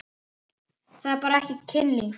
Það er ekki bara kynlíf.